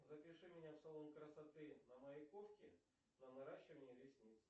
запиши меня в салон красоты на маяковке на наращивание ресниц